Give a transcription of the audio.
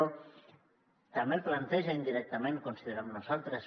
també planteja indirectament considerem nosaltres